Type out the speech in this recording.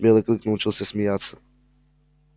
белый клык научился смеяться